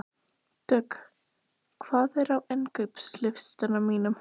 Dögg, hvað er á innkaupalistanum mínum?